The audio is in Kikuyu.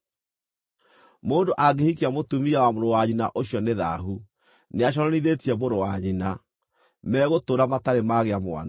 “ ‘Mũndũ angĩhikia mũtumia wa mũrũ wa nyina ũcio nĩ thaahu, nĩaconorithĩtie mũrũ wa nyina. Megũtũũra matarĩ magĩa mwana.